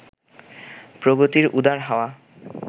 প্রগতির উদার হাওয়া